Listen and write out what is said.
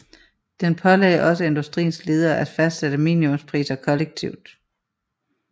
Den pålagde også industriens ledere at fastsætte minimumpriser kollektivt